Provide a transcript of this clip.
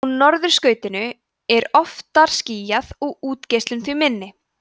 á norðurskautinu er oftar skýjað og útgeislun því minni